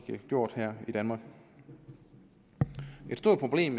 gjort her i danmark et stort problem